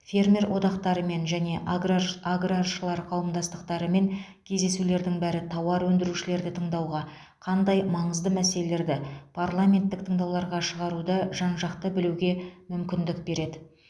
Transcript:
фермер одақтарымен және аграрш аграршылар қауымдастықтарымен кездесулердің бәрі тауар өндірушілерді тыңдауға қандай маңызды мәселелерді парламенттік тыңдауларға шығаруды жан жақты білуге мүмкіндік береді